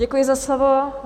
Děkuji za slovo.